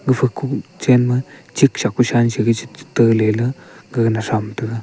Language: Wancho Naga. gapha kuchen ma chicksha kushan shigishita lela gaga na tham taiga.